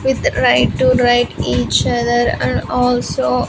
With right to right each other and also --